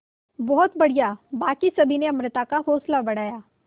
बहुत बढ़िया बाकी सभी ने अमृता का हौसला बढ़ाया